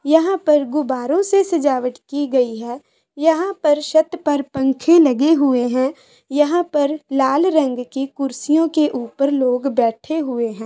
यहां पर गुब्बारों से सजावट की गयी है यहां पर छत पर पंखे लगे हुए है यहां पर लाल रंग की कुर्सियों के ऊपर लोग बैठे हुए है।